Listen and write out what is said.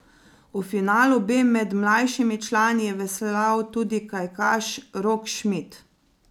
V finalu B med mlajšimi člani je veslal tudi kajakaš Rok Šmit.